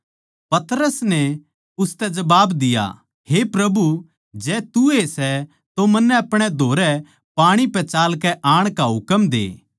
पतरस नै उसतै जबाब दिया हे प्रभु जै तू ए सै तो मन्नै अपणे धोरै पाणी पै चालकै आण का हुकम दे